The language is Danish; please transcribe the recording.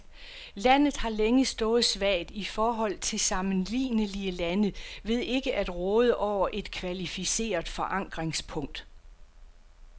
Landet har længe stået svagt i forhold til sammenlignelige lande ved ikke at råde over et kvalificeret forankringspunkt.